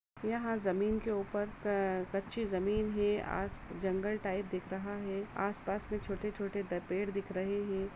यहाँ जमीन के ऊपर कच्ची जमीन है आज जंगल टाइप दिख रहा है आसपास में छोटे-छोटे द पेड़ दिख रहे है।